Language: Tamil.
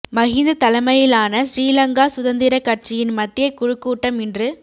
மஹிந்த தலைமையிலான சிறீலங்கா சுதந்திரக் கட்சியின் மத்திய குழுக் கூட்டம் இன்று